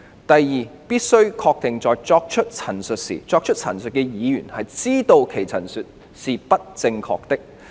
第二，必須確定在作出陳述時，作出陳述的議員知道其陳述是不正確的。